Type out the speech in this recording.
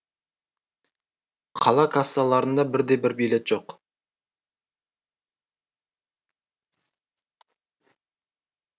қала кассаларында бір де бір билет жоқ